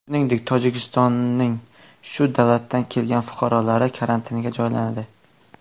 Shuningdek, Tojikistonning shu davlatlardan kelgan fuqarolari karantinga joylanadi.